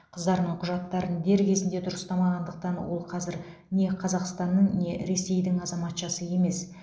қыздарының құжаттарын дер кезінде дұрыстамағандықтан ол қазір не қазақстанның не ресейдің азаматшасы емес